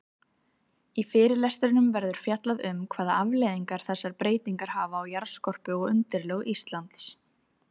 Í fyrirlestrinum verður fjallað um hvaða afleiðingar þessar breytingar hafa á jarðskorpu og undirlög Íslands.